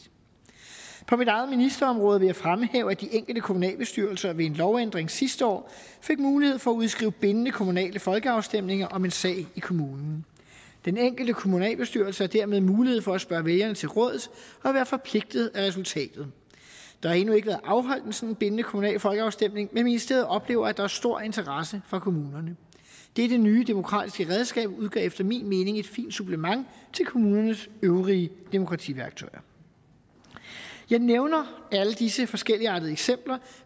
på mit eget ministerområde vil jeg fremhæve at de enkelte kommunalbestyrelser ved en lovændring sidste år fik mulighed for at udskrive bindende kommunale folkeafstemninger om en sag i kommunen den enkelte kommunalbestyrelse har dermed mulighed for at spørge vælgerne til råds og være forpligtet af resultatet der har endnu ikke været afholdt en sådan bindende kommunal folkeafstemning men ministeriet oplever at der er stor interesse fra kommunerne dette nye demokratiske redskab udgør efter min mening et fint supplement til kommunens øvrige demokrativærktøjer jeg nævner alle disse forskelligartede eksempler